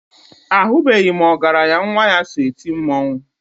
Ahụbeghị m ọgaranya nwa ya so eti mmọnwụ.